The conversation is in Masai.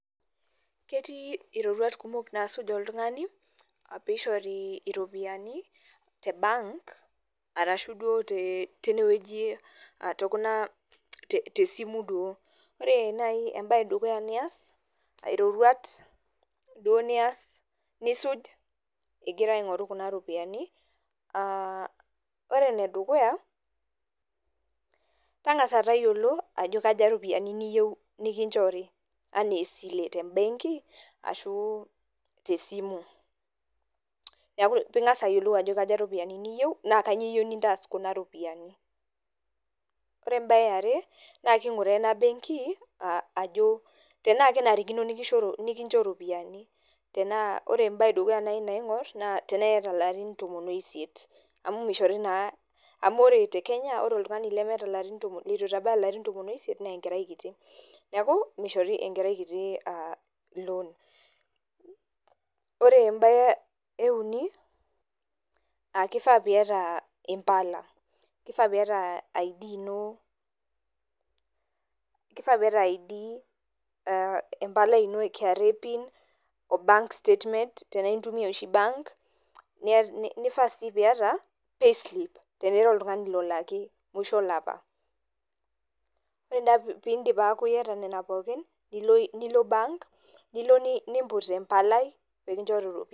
Ketii iroruat kumok nasuj oltung'ani, pishori iropiyiani te bank, arashu duo tinewueji tokuna tesimu duo. Ore nai ebae edukuya nias, iroruat duo nias nisuj igira aing'oru kuna ropiyiani, ah ore enedukuya, tang'asa tayiolo, ajo kaja ropiyiani niyieu nikinchori enaa esile tebenki, ashu tesimu. Na ping'asa ayiolou ajo kaja ropiyiani niyieu na kanyioo intaas kuna ropiyiani. Ore ebae eare, na king'uraa ena benki, ajo tenaa kenarikino nikincho ropiyiani. Tenaa Ore ebae edukuya nai naing'or, naa tenaa yata larin tomon oisiet. Amu mishori naa amu ore te Kenya, ore oltung'ani lemeeta larin litu itabaya larin tomon oisiet, nenkerai kiti. Neeku, mishori enkerai kiti loan. Ore ebae euni, ah kifaa piata impala. Kifaa piata ID ino, kifaa piata ID, empalai ino e kra pin, o bank statement tenaa intumia oshi bank, nifaa si piata, payslip tenaa ira oltung'ani lolaki musho olapa. Ore naa pidip aku yata nena pookin, nilo bank, nilo nimput empalai, pekinchori ropiyiani.